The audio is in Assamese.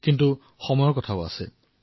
কিন্তু সময়ৰ অভাৱত এয়া সম্ভৱ নহল